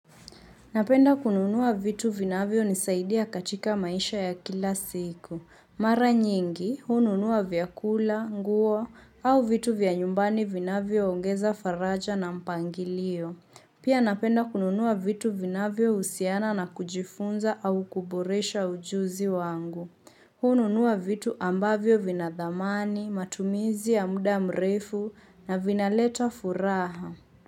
Napenda kununua vitu vinavyonisaidia katika maisha ya kila siku. Mara nyingi, hununua vyakula, nguo au vitu vya nyumbani vinavyoongeza faraja na mpangilio. Pia napenda kununuwa vitu vinavyo usiana na kujifunza au kuboresha ujuzi wangu. Hununua vitu ambavyo vina dhamani, matumizi ya muda mrefu na vinaleta furaha.